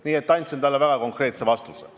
Andsin talle niimoodi väga konkreetse vastuse.